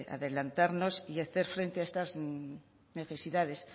adelantarnos y hacer frente a estas necesidades